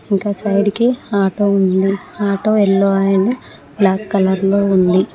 ఇంకా సైడ్ కి ఆటో ఉంది auto yellow and black colour లో ఉంది.